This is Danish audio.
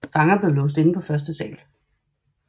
Fanger blev låst inde på første sal